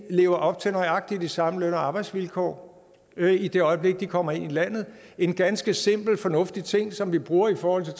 lever op til nøjagtig de samme løn og arbejdsvilkår i det øjeblik de kommer ind i landet en ganske simpel og fornuftig ting som vi bruger i forhold til